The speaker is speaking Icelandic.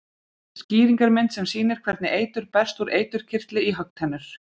Skýringarmynd sem sýnir hvernig eitur berst úr eiturkirtli í höggtennur.